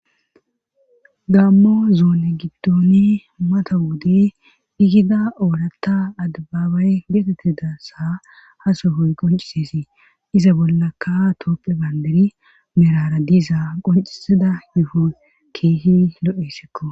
gammo zoone giddoni mata wode igida oorata adbabay getetida sa ha sohoy qoncisesi iza bollaka tooppe bayndari meraara diza qoncisida yuho keehi lo7essikko